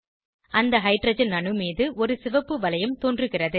அந்த ஹைட்ரஜன் அணு மீது ஒரு சிவப்பு வளையம் தோன்றுகிறது